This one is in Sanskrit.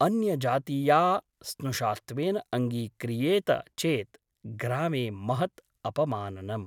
अन्यजातीया स्नुषात्वेन अङ्गीक्रियेत चेत् ग्रामे महत् अपमाननम् ।